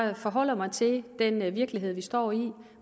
jeg forholder mig til den virkelighed vi står i